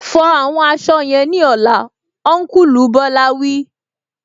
Fọ àwọn aṣọ yẹn ní ọlá, Ọnkulu Bola wí